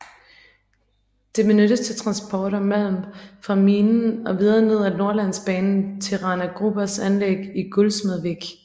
Det benyttes til transport af malm fra minen og videre ad Nordlandsbanen til Rana Grubers anlæg i Gullsmedvik